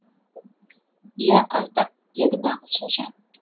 иә аздап дедім ағылшынша